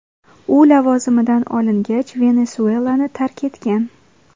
U lavozimidan olingach, Venesuelani tark etgan.